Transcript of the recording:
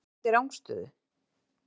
En hann dæmdi rangstöðu?